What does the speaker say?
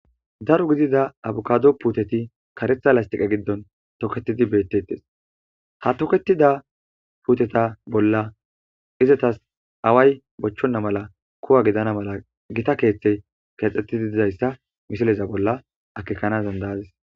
darro giddida abakado puteti karetha pesitale giddon toketidi betetesi ha tokrtidda puteta bolla izatasi aweayi bochona mala ku'a gidanasi gotta kethayi kexeti dizayissa akekanasi danidayadis